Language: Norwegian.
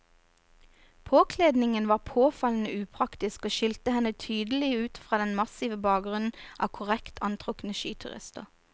Påkledningen var påfallende upraktisk og skilte henne tydelig ut fra den massive bakgrunnen av korrekt antrukne skiturister.